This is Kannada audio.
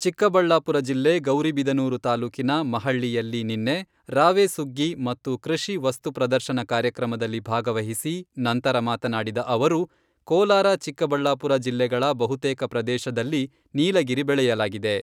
ಚಿಕ್ಕಬಳ್ಳಾಪುರ ಜಿಲ್ಲೆ ಗೌರಿಬಿದನೂರು ತಾಲೂಕಿನ ಮಹಳ್ಳಿಯಲ್ಲಿ ನಿನ್ನೆ ರಾವೇ ಸುಗ್ಗಿ ಮತ್ತು ಕೃಷಿ ವಸ್ತು ಪ್ರದರ್ಶನ ಕಾರ್ಯಕ್ರಮದಲ್ಲಿ ಭಾಗವಹಿಸಿ ನಂತರ ಮಾತನಾಡಿದ ಅವರು, ಕೋಲಾರ ಚಿಕ್ಕಬಳ್ಳಾಪುರ ಜಿಲ್ಲೆಗಳ ಬಹುತೇಕ ಪ್ರದೇಶದಲ್ಲಿ ನೀಲಗಿರಿ ಬೆಳೆಯಲಾಗಿದೆ.